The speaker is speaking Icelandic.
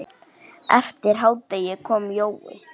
Eftir hádegi kom Jói.